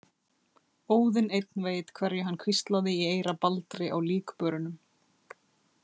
Óðinn einn veit hverju hann hvíslaði í eyra Baldri á líkbörunum.